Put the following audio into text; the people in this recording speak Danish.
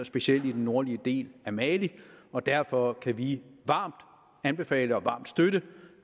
specielt i den nordlige del af mali og derfor kan vi varmt anbefale og varmt støtte